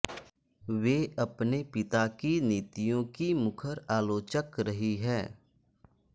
वे अपने पिता की नीतियों की मुखर आलोचक रही है